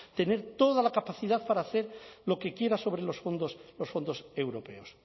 tener toda la capacidad para hacer lo que quiera sobre los fondos los fondos europeos